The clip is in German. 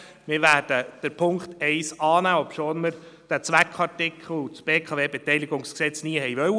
Wir werden den Punkt 1 annehmen, obschon wir den Zweckartikel und das BKWG nie gewollt haben.